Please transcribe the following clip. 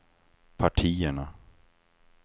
partierna